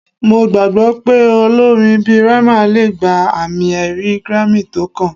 Mo gbagbọ pe olorin bi Rema le gba ami-ẹri Grammy tókàn